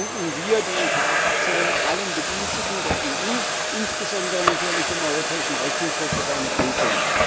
Dafür danken wir, die EKR Fraktion, allen Bediensteten der EU, insbesondere natürlich dem Europäischen Rechnungshof für seine Prüfung.